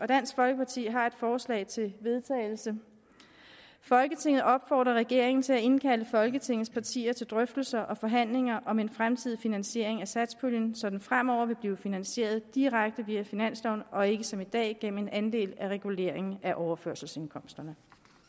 dansk folkeparti har et forslag til vedtagelse folketinget opfordrer regeringen til at indkalde folketingets partier til drøftelser og forhandlinger om en fremtidig finansiering af satspuljen så den fremover vil blive finansieret direkte via finansloven og ikke som i dag gennem en andel af reguleringen af overførselsindkomsterne